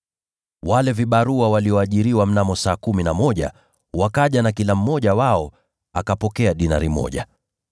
“Wale vibarua walioajiriwa mnamo saa kumi na moja, wakaja na kila mmoja wao akapokea dinari moja.